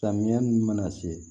Samiya nunnu mana se